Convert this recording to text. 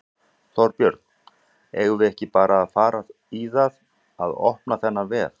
Þorbjörn: Eigum við ekki bara að fara í það að opna þennan vef?